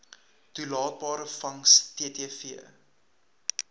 toelaatbare vangs ttv